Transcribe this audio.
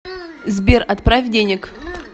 сбер отправь денег